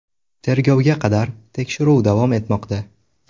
Tergovga qadar tekshiruv davom etmoqda.